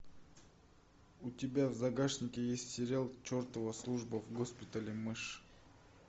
у тебя в загашнике есть сериал чертова служба в госпитале мэш